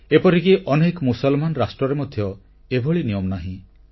ଏପରିକି ଅନେକ ମୁସଲମାନ ରାଷ୍ଟ୍ରରେ ମଧ୍ୟ ଏଭଳି ନିୟମ ନାହିଁ